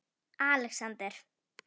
Alexander